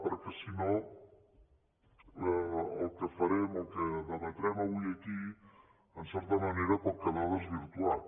perquè si no el que farem el que debatrem avui aquí en certa manera pot quedar desvirtuat